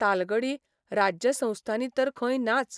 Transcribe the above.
तालगडी राज्यसंस्थांनी तर खंय नाच.